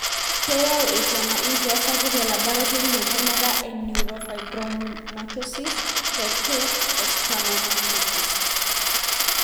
keyau esiana enkias sapuk elaboratories entemata e neurofibromatosis type 2 o schwannomatosis.